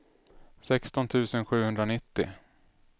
sexton tusen sjuhundranittio